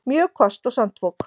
Mjög hvasst og sandfok